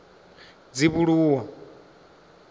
dzivhuluwa